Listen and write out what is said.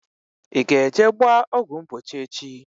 I ga eje gbaa ọgwụ mgbochi echi?